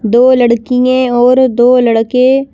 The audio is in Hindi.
दो लड़कियां और दो लड़के--